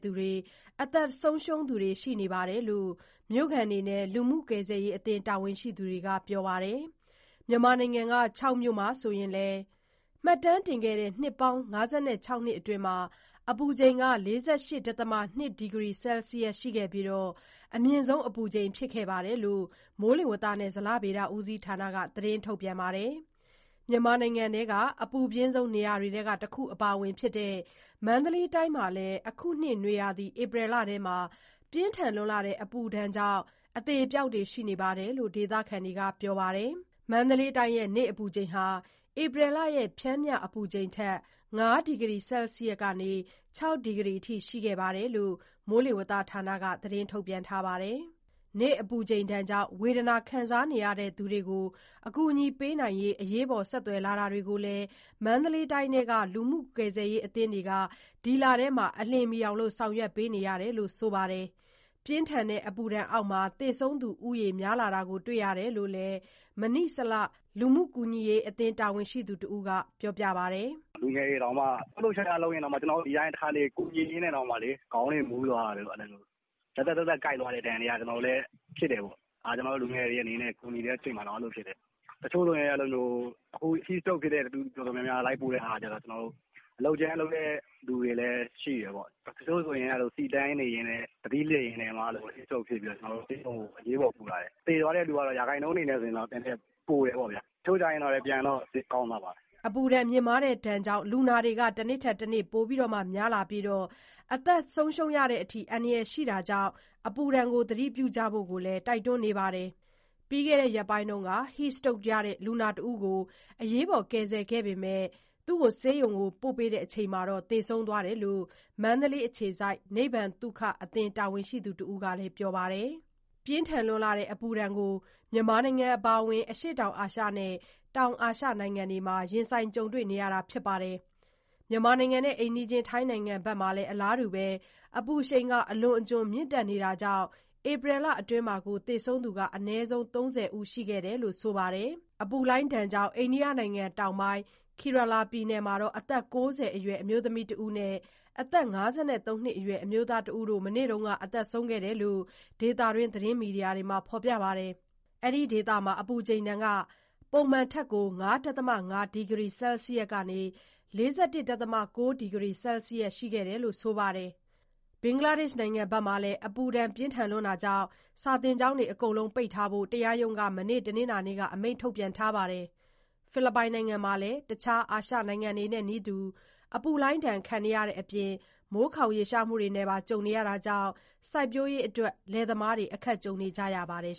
သူတွေ၊ အသက်ဆုံးရှုံးသူတွေ ရှိနေတယ်လို့ မြို့ခံတွေနဲ့ လူမှုကယ်ဆယ်ရေးအသင်း တာဝန်ရှိသူတွေက ပြောပါတယ်။ မြန်မာနိုင်ငံက ချောက်မြို့ဟာ ဆိုရင်လည်း မှတ်တမ်းတင်ခဲ့တဲ့ နှစ်ပေါင်း ၅၆ နှစ်အတွင်း အပူချိန် ၄၈.၂ ဒီဂရီ ဆဲလ်စီယပ် ရှိခဲ့ပြီး အမြင့်ဆုံး ဖြစ်ခဲ့တယ်လို့ မိုးလေဝသဌာနက သတင်းထုတ်ပြန်ခဲ့တာပါ။ မြန်မာနိုင်ငံက အပူဆုံးနေရာတွေထဲမှာ အပါအဝင်ဖြစ်တဲ့ မန္တလေးတိုင်းမှာလည်း အခုနှစ်နွေရာသီ ဧပြီလထဲ ပြင်းထန်တဲ့ အပူဒဏ်အောက်မှာ အသေအပျောက်တွေ ရှိနေတယ်လို့လည်း ဒေသခံတွေက ပြောပါတယ်။ မန္တလေးတိုင်းရဲ့ နေ့အပူချိန်ဟာ ဧပြီလရဲ့ ပျမ်းမျှအပူချိန်ထက် ၅ ဒီဂရီဆဲလ်စီးယပ်ကနေ ၆ အထိ ရှိခဲ့တယ်လို့ မိုးလေဝသဌာနက ထုတ်ပြန်ထားပါတယ်။ နေ့အပူချိန်ကြောင့် ဝေဒနာခံနေရသူတွေကို ကူညီပေးဖို့ အရေးပေါ် ဆက်သွယ်လာတာတွေကိုလည်း မန္တလေးတိုင်းထဲက လူမှုကယ်ဆယ်ရေး အသင်းတွေ ဒီလထဲ အလျင်မီ ဆောင်ရွက်ပေးနေတယ်လို့ သိရပါတယ်။ ပြင်းထန်တဲ့ အပူဒဏ်အောက် သေဆုံးသူဦးတွေ များလာတာ တွေ့ရတယ်လို့လည်း မဏိစလ လူမှုကူညီရေး အသင်းတာဝန်ရှိသူ တဦးက ပြောပါတယ်။ "လူငယ်တွေတောင် တခါတလေ ကျနော်တို့ကူညီရင်း လှုပ်လှုပ်ရှားရှားလုပ်ရင် ခေါင်းမူသွားတာတို့၊ ဇက်ဇက်ဇက်ဇက်နဲ့ ကိုက်သွားတဲ့ဒဏ်တွေက ကျနော်တို့ လူငယ်တွေအနေနဲ့ ကူညီတဲ့အချိန်မှာတောင် အဲလိုဖြစ်တယ်။ အခု Heat Stroke ဖြစ်တဲ့သူ တော်တော်များများ လိုက်ပို့တဲ့ဟာက အလုပ်ကြမ်းလုပ်တဲ့ သူတွေလည်း ရှိတယ်ပေါ့။ တချို့ဆို ဆီတန်းစီနေရင်း သတိလစ်ပြီး Heat Stroke ဖြစ်လို့ ဆေးရုံကို အရေးပေါ်ပို့ရတယ်။ သေသွားတဲ့သူကတော့ ရာခိုင်နှုန်းအနေနဲ့ နည်းနည်းပိုတယ်ပေါ့ဗျာ။ တချို့ကျတော့လည်း ပြန်ကောင်းသွားပါတယ်။" အပူဒဏ်ကြောင့် လူနာတွေ တနေ့ထက်တနေ့ ပိုများလာနေပြီး အသက်သေဆုံးတဲ့အထိ အန္တရာယ်ရှိတာကြောင့် သတိပြုဖို့ကိုလည်း တိုက်တွန်းထားပါတယ်။ ပြီးခဲ့တဲ့ ရက်ပိုင်းက Heat Stroke လူနာတဦးကို အရေးပေါ် ကယ်ဆယ်ခဲ့ပေမယ့် ဆေးရုံရောက်ချိန်မှာ သေဆုံးသွားတယ်လို့ မန္တလေးအခြေစိုက် နိဗ္ဗာန်သုခအသင်း တာဝန်ရှိသူတဦးကလည်း ပြောပါတယ်။ ပြင်းထန်တဲ့ အပူဒဏ်ကိုတော့ မြန်မာနိုင်ငံ အပါအဝင် အရှေ့တောင်အာရှနဲ့ တောင်အာရှနိုင်ငံတွေမှာ ကြုံတွေ့နေရတာပါ။ အိမ်နီးချင်း ထိုင်းနိုင်ငံမှာလည်း အလားတူ အပူရှိန် အလွန်အကျွန် မြင့်တက်နေတာကြောင့် ဧပြီလအတွင်းမှာတင် သေဆုံးသူ အနည်းဆုံး ၃၀ ရှိခဲ့တယ်လို့ ဆိုပါတယ်။ အပူလှိုင်းဒဏ်ကြောင့် အိန္ဒိယနိုင်ငံတောင်ပိုင်း၊ Kerala ပြည်နယ်မှာ အသက် ၉၀ အရွယ် အမျိုးသမီးတဦးနဲ့ အသက် ၅၃ နှစ်အရွယ် အမျိုးသားတဦးတို့ မနေ့ က သေဆုံးခဲ့ကြောင်း ဒေသတွင်း သတင်းမီဒီယာတွေမှာ ဖော်ပြပါတယ်။ အဲဒီ ဒေသမှာ အပူချိန်ဟာ ပုံမှန်ထက် ၅.၅ ဒီဂရီ ဆဲလ်စီးယပ် ၄၁.၉ ဒီဂရီ ဆဲလ်စီးယပ် ရှိခဲ့တယ်လို့ ဆိုပါတယ်။ ဘင်္ဂလားဒေ့ရှ်နိုင်ငံမှာတော့ အပူဒဏ်ပြင်းလွန်းတာကြောင့် စာသင်ကျောင်းတွေအားလုံးပိတ်ထားဖို့ တရားရုံးက မနေ့ တနင်္လာနေ့မှာ အမိန့်ထုတ်လိုက်ပါတယ်။ ဖိလစ်ပိုင်နိုင်ငံမှာလည်း တခြား အာရှနိုင်ငံတွေနည်းတူ အပူလှိုင်းဒဏ်ခံနေရတဲ့အပြင် မိုးခေါင်မှုနဲ့ပါ ကြုံနေရတာကြောင့် စိုက်ပျိုးရေးအတွက် လယ်သမားတွေ အခက်ကြုံနေကြရပါတယ်